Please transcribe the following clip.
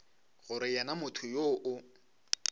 gore yena motho yoo o